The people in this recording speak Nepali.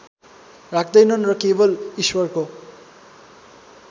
राख्दैनन् र केवल ईश्वरको